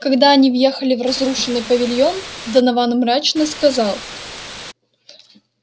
когда они въехали в разрушенный павильон донован мрачно сказал